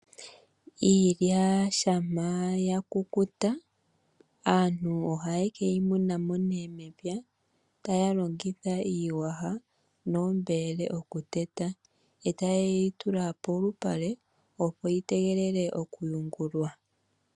Iilya shama yakukuta aantu ohaye ke yimunamo mepya taya longitha iiyasha noombele okuteta yo taye yitula polupale yitegelele okuyungulwa.